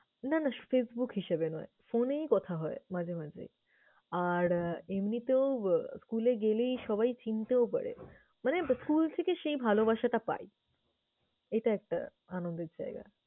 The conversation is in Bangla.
না না facebook হিসেবে নয় phone এই কথা হয় মাঝে মাঝে। আর আহ এমনিতেও school এ গেলেই সবাই চিনতেও পারে। মানে school থেকে সেই ভালোবাসাটা পাই, এটা একটা আনন্দের জায়গা।